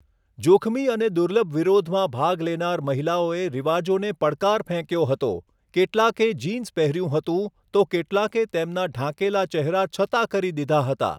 જોખમી અને દુર્લભ વિરોધમાં ભાગ લેનાર મહિલાઓએ રિવાજોને પડકાર ફેંક્યો હતો, કેટલાંકે જીન્સ પહેર્યું હતું, તો કેટલાંકે તેમના ઢાંકેલા ચહેરા છતા કરી દીધા હતા.